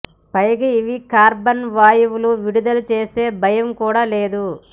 పైగా ఇవి కార్బన్ వాయువులు విడుదల చేసే భయం కూడా లేదు